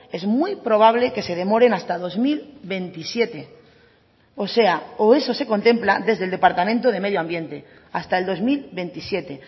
es muy probable que se demoren hasta dos mil veintisiete o sea o eso se contempla desde el departamento de medio ambiente hasta el dos mil veintisiete